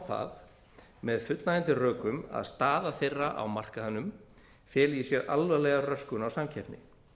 það með fullnægjandi rökum að staða þeirra á markaðnum feli í sér alvarlega röskun á samkeppni